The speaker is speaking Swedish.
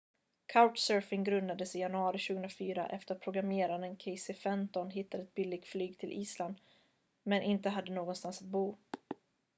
couchsurfing grundades i januari 2004 efter att programmeraren casey fenton hittade ett billigt flyg till island men inte hade någonstans att bo